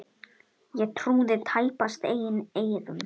Ég trúði tæpast eigin eyrum.